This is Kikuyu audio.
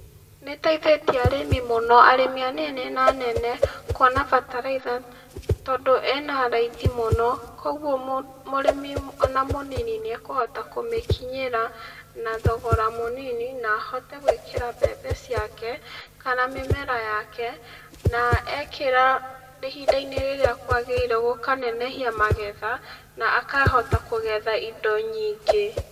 Nĩĩteĩthĩtie arĩmĩ mũno, arĩmĩ anini na anene kũona bataraitha, tondũ ĩna raithi mũno koguo ona murĩmi mũnini nĩekũhota kũmĩkinyĩra na thogora mũnini na ahote gwĩkĩra mbembe ciake, kana mĩmera yake na ekĩra ihinda-ĩnĩ rĩrĩa kwagĩrĩire, gũkanenehia magetha na akahota kũgetha indo nyingĩ.